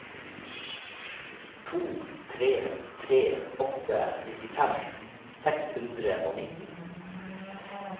to tre tre åtte nittifem seks hundre og nitten